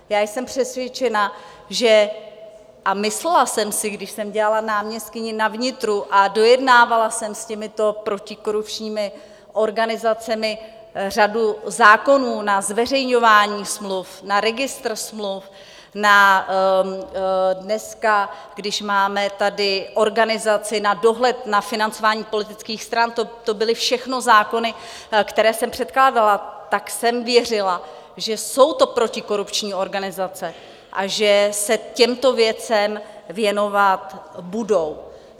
Já jsem přesvědčena, že... a myslela jsem si, když jsem dělala náměstkyni na vnitru a dojednávala jsem s těmito protikorupčními organizacemi řadu zákonů na zveřejňování smluv, na registr smluv, na dneska, když máme tady organizaci na dohled na financování politických stran, to byly všechno zákony, které jsem předkládala, tak jsem věřila, že jsou to protikorupční organizace a že se těmto věcem věnovat budou.